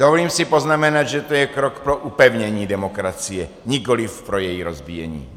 Dovolím si poznamenat, že to je krok pro upevnění demokracie, nikoliv pro její rozbíjení.